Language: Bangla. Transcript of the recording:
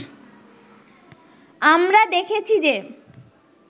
আমরা দেখেছি যে